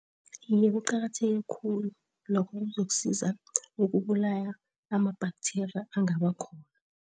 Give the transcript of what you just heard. Iye kuqakatheke khulu lokho kuzokusiza ukubulala ama-bacteria angabakhona.